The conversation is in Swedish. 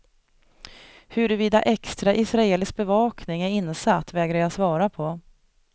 Huruvida extra israelisk bevakning är insatt vägrar jag svara på.